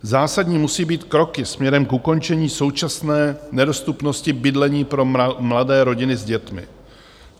Zásadní musí být kroky směrem k ukončení současné nedostupnosti bydlení pro mladé rodiny s dětmi.